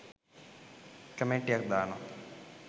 කමෙන්ටියක් දානවා